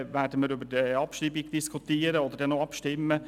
Ziffer 3 werden wir über die Abschreibung diskutieren und danach abstimmen.